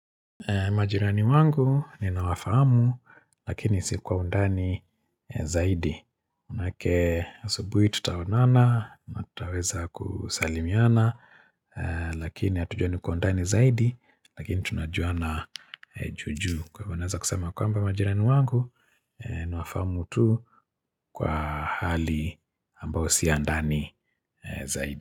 Majirani wangu ninawafahamu lakini si kwa undani zaidi. Maanake asubuhi tutaonana na tutaweza kusalimiana lakini hatujuani kwa undani zaidi lakini tunajuana juu juu. Kwahivyo naweza kusema kwamba majirani wangu nawafahamu tu kwa hali ambayo si ya ndani zaidi.